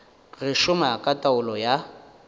go šoma ka taolo ya